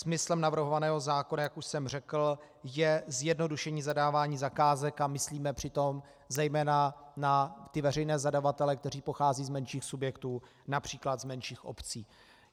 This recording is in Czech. Smyslem navrhovaného zákona, jak už jsem řekl, je zjednodušení zadávání zakázek a myslíme přitom zejména na ty veřejné zadavatele, kteří pocházejí z menších subjektů, například z menších obcí.